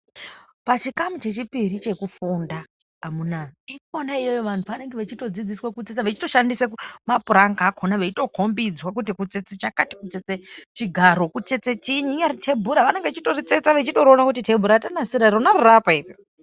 Pachikamu chechipuri chekufunda ndiponabvantu pavanenge vachidzidziswa tsetsa vachishandisa mapuranga akona veitopangidzwa kuti kutsetsa chakati kutsetsa chigaro kutsetsa tebhura vanenge vachitsetsa vachionabkutj tebhura ravatsetsa Rona riri apa iri.